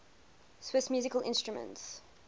swiss musical instruments